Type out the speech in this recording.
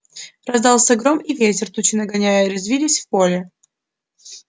раздался гром и ветер тучи нагоняя резвились в поле